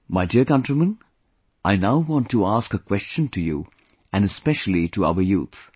My dear countrymen, I now want to ask a question to you and especially to our youth